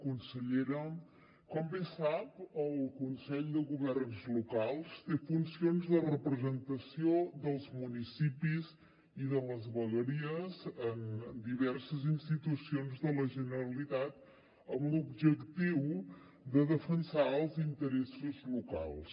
consellera com bé sap el consell de governs locals té funcions de representació dels municipis i de les vegueries en diverses institucions de la generalitat amb l’objectiu de defensar els interessos locals